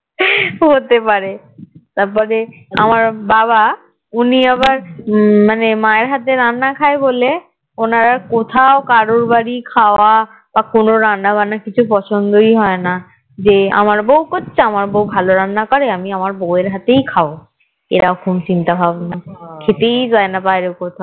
ওনার আর কোথাও কারোর বাড়ির খাওয়া বা কোনো রান্না বান্না কিছু পছন্দই হয় না যে আমার বৌ করছে আমার বৌ ভালো রান্না করে আমি আমার বৌ র হাতেই খাবো এরকম চিন্তা ভাবনা খেতেই চাইনা বাইরে কোথাও